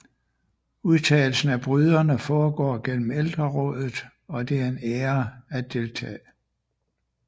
Udtagelsen af bryderne foregår gennem ældrerådet og det er en ære at deltage